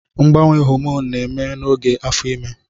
Mgbanwe hòmònụ na-eme n'oge afọ imé